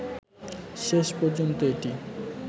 শেষ পর্যন্ত এটি